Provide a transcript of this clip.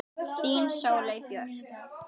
Þín Sóley Björk